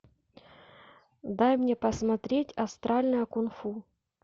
дай мне посмотреть астральное кунг фу